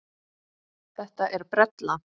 Þetta er brella.